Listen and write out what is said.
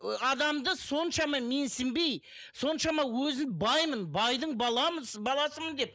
ы адамды соншама менсінбей соншама өзін баймын байдың баласымын деп